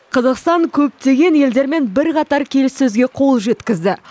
қазақстан көптеген елдермен бірқатар келіссөзге қол жеткізді